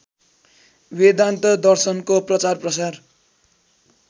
वेदान्त दर्शनको प्रचारप्रसार